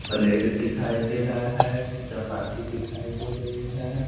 Plate दिखाई दे रहा है चपाती दिखाई दे रही है।